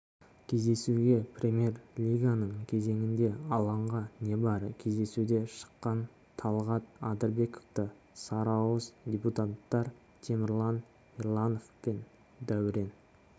кездесуге премьер-лиганың кезеңінде алаңға небары кездесуде шыққан талғат адырбековты сарыауыз дебютанттар темірлан ерланов пен дәурен